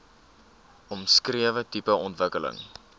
omskrewe tipe ontwikkeling